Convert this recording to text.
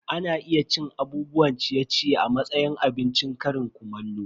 Ana iya cin abubuwan ciye-ciye a matsayin abincin ƙarin kumallo.